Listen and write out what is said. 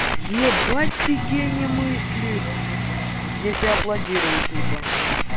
ебать ты гений мысли я тебя аплодирую тупо